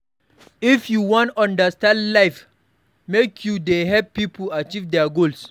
If you wan understand life, make you dey help pipo achieve their goals.